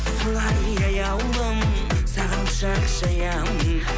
солай аяулым саған құшақ жаямын